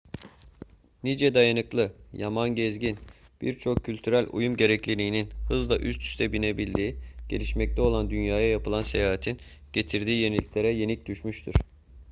nice dayanıklı yaman gezgin birçok küçük kültürel uyum gerekliliğinin hızla üst üste binebildiği gelişmekte olan dünyaya yapılan seyahatin getirdiği yeniliklere yenik düşmüştür